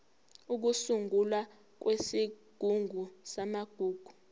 ukusungulwa kwesigungu samagugu